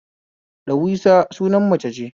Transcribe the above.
Darweesha sunan mace ce